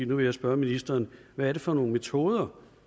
nu vil jeg spørge ministeren hvad er det for nogle metoder